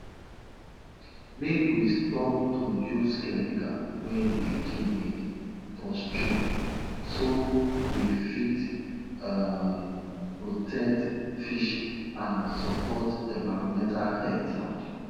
pikin dem dey observe how animals dey behave and dey tell their parents if di animal look like say e no well